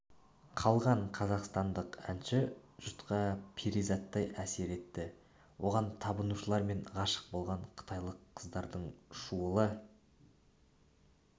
қалған қазақстандық әнші жұртқа перизаттай әсер етті оған табынушылар мен ғашық болған қытайлық қыздардың шуылы